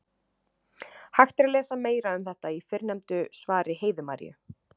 Hægt er að lesa meira um þetta í fyrrnefndu svari Heiðu Maríu.